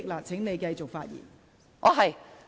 請你繼續發言。